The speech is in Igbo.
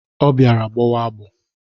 Ọ bịara gbọwa agbọ.